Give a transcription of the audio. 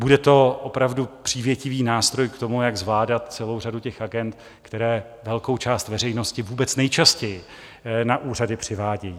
Bude to opravdu přívětivý nástroj k tomu, jak zvládat celou řadu těch agend, které velkou část veřejnosti vůbec nejčastěji na úřady přivádějí.